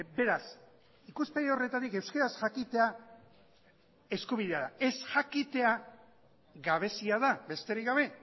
beraz ikuspegi horretatik euskaraz jakitea eskubidea da ez jakitea gabezia da besterik gabe